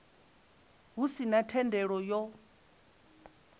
hu si na thendelo yo